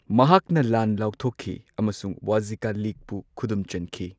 ꯃꯍꯥꯛꯅ ꯂꯥꯟ ꯂꯥꯎꯊꯣꯛꯈꯤ ꯑꯃꯁꯨꯡ ꯋꯥꯖꯖꯤꯀꯥ ꯂꯤꯒꯄꯨ ꯈꯨꯗꯨꯝ ꯆꯟꯈꯤ꯫